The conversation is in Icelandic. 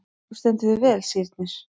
Þú stendur þig vel, Sírnir!